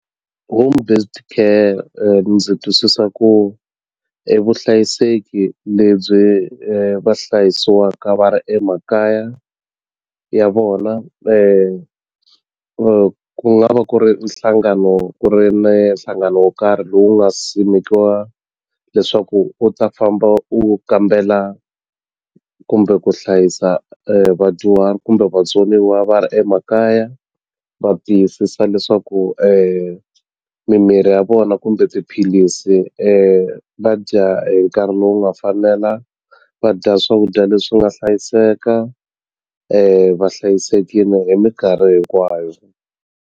Home based care ndzi twisisa ku i vuhlayiseki lebyi va hlayisiwaka va ri emakaya ya vona ku nga va ku ri nhlangano ku ri na nhlangano wo karhi lowu nga simekiwa leswaku wu ta famba wu kambela kumbe ku hlayisa vadyuhari kumbe vatsoniwa va ri emakaya va tiyisisa leswaku mimiri ya vona kumbe tiphilisi va dya hi nkarhi lowu nga fanela va dya swakudya leswi nga hlayiseka va hlayisekile hi minkarhi hinkwayo.